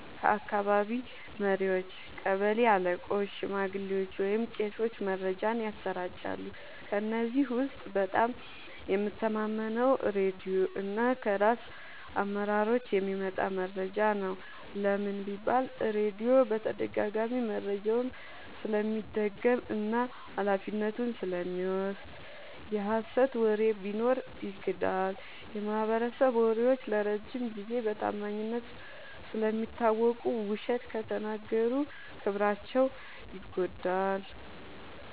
ከአካባቢ መሪዎች – ቀበሌ አለቆች፣ ሽማግሌዎች ወይም ቄሶች መረጃን ያሰራጫሉ። ከእነዚህ ውስጥ በጣም የምተማመነው ራድዮ እና ከራስ አመራሮች የሚመጣ መረጃ ነው። ለምን? · ራድዮ በተደጋጋሚ መረጃውን ስለሚደግም እና ኃላፊነቱን ስለሚወስድ። የሀሰት ወሬ ቢኖር ይክዳል። · የማህበረሰብ መሪዎች ለረጅም ጊዜ በታማኝነት ስለሚታወቁ፣ ውሸት ከተናገሩ ክብራቸው ይጎዳል።